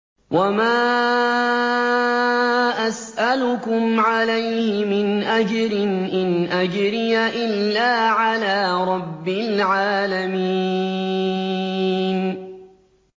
وَمَا أَسْأَلُكُمْ عَلَيْهِ مِنْ أَجْرٍ ۖ إِنْ أَجْرِيَ إِلَّا عَلَىٰ رَبِّ الْعَالَمِينَ